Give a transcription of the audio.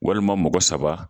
Walima mɔgɔ saba